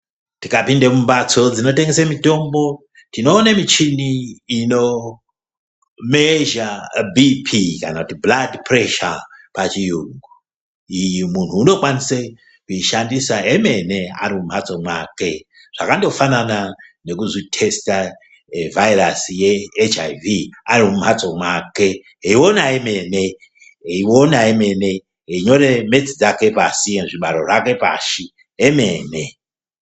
Tikapinde mumhatso dzinotengesa mitombo tinooona michini ino ningira zvirwere mungazi yemuntu. Iyi michini muntu unokwanise kushandisa emene arimumhatso mwake, zvakafanana nekuzvihloya wega uri mumhatso mwako weiona wemene weinyora zvibaro pashi.